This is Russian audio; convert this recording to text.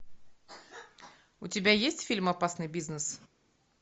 у тебя есть фильм опасный бизнес